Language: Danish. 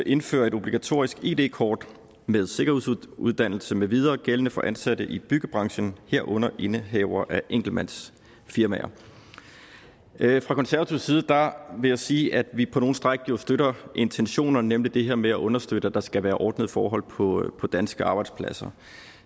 indfører et obligatorisk id kort med sikkerhedsuddannelse med videre gældende for ansatte i byggebranchen herunder indehavere af enkeltmandsfirmaer fra konservatives side vil jeg sige at vi på nogle stræk støtter intentionerne nemlig det her med at understøtte at der skal være ordnede forhold på på danske arbejdspladser